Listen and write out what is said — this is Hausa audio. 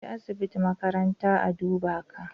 Ka je asibiti makaranta a duba ka